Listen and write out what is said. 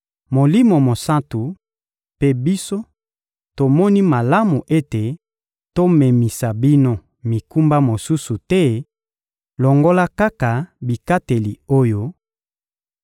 Molimo Mosantu mpe biso tomoni malamu ete tomemisa bino mikumba mosusu te, longola kaka bikateli oyo: